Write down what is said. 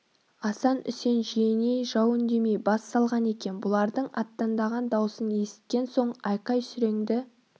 асан үсен жиеней жау үндемей бас салған екен бұлардың аттандаған даусын есіткен соң айқай-сүреңді